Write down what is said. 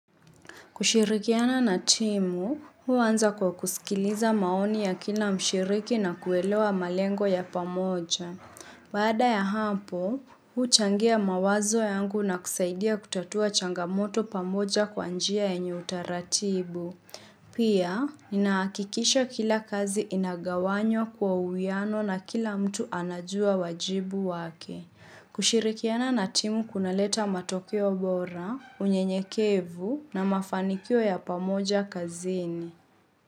Kushirikiana na timu, hu uanza kwa kusikiliza maoni ya kila mshiriki na kuelewa malengo ya pamoja. Baada ya hapo, hu uchangia mawazo yangu na kusaidia kutatua changamoto pamoja kwa njia yenye utaratibu. Pia, ninahakikisha kila kazi inagawanywa kwa uwiano na kila mtu anajua wajibu wake. Kushirikiana na timu kunaleta matokeo bora, unyenyekevu na mafanikio ya pamoja kazini.